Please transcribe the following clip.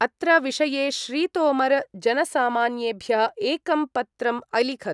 अत्र विषये श्रीतोमर जनसामान्येभ्य एकं पत्रं अलिखत्।